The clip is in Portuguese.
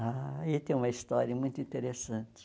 Aí tem uma história muito interessante.